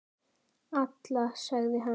Alla, sagði hann.